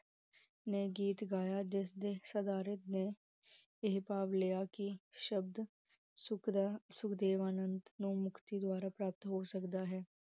ਨੇ ਗੀਤ ਗਾਇਆ, ਜਿਸਦੇ ਸਾਦਾਰਿਕ ਨੇ ਇਹ ਭਾਵ ਲਿਆ ਕਿ, ਸ਼ਬਦ ਸੁਕਰਾ ਸੁਖਦੇਵ ਆਨੰਦ ਨੂੰ ਮੁਕਤੀ, ਦ੍ਵਾਰਾ ਪ੍ਰਾਪਤ ਹੋ ਸਕਦਾ ਹੈ